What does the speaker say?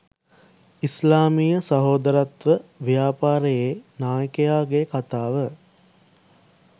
ඉස්ලාමීය සහෝදරත්ව ව්‍යාපාරයේ නායකයාගේ කථාව